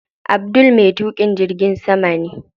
Abdul me tuƙin jirgin sama ne.